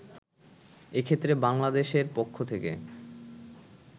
এক্ষেত্রে বাংলাদেশের পক্ষ থেকে